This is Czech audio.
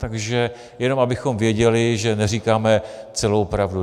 Takže jenom abychom věděli, že neříkáme celou pravdu.